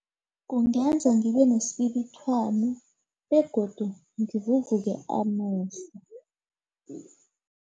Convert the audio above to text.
Kungenza ngibenesibibithwana begodu ngivuvuke amehlo.